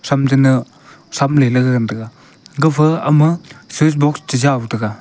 cham zi na ngan tai ga gafa ama switch box chi jow te ga.